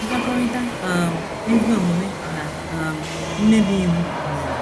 mkpakọrịta um ezi omume na um mmebi iwu nwere?